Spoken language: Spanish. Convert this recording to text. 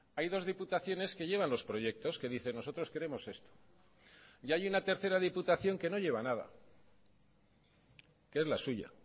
hay dos diputaciones que llevan los proyectos que dicen nosotros queremos esto y hay una tercera diputación que no lleva nada que es la suya